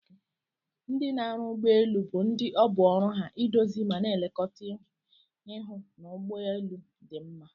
Ndi n'arụ ụgbọ elụ bu ndi ọbụ oru ha idozi mana elekọta ihụ n'ụgbọ elu di mma.